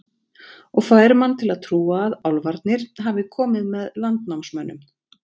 Og fær mann til að trúa að álfarnir hafi komið með landnámsmönnum.